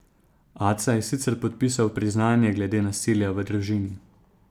Aca je sicer podpisal priznanje glede nasilja v družini.